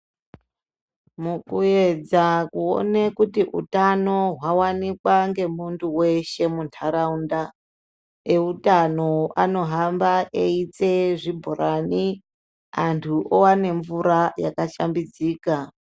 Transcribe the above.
Mukuedza kuone kuti utano hwawanikwa ngemuntu weshe muntaraunda eutano anohamba eyitse zvibhorani antu owane mvura yakashambidzika.